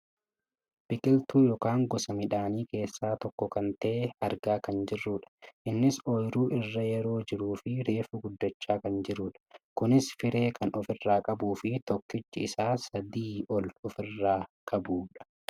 Biqiltuu yookaan gosa midhaanii keessaa tokko kan ta'e argaa kan jirrudha. Innis ooyiruu irra yeroo jiruufi reefu guddachaa kan jirudha. Kunis firee kan ofirraa qabuufi tokkichi isaa sadii ol kan ofirraa qabudha.